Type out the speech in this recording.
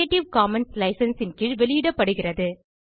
creative Commons licenseன் கீழ் வெளியிடப்படுகிறது